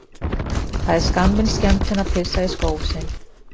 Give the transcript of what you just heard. Það er skammvinn skemmtun að pissa í skó sinn.